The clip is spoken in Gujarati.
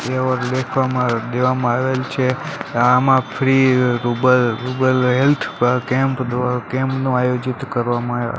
દેવામાં આવેલ છે આમાં ફ્રી રુબલ રુબલ હેલ્થ કેમ્પ કેમ્પ નું આયોજીત કરવામાં --